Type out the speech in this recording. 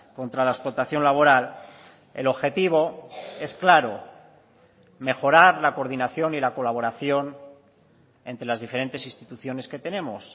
contra la explotación laboral el objetivo es claro mejorar la coordinación y la colaboración entre las diferentes instituciones que tenemos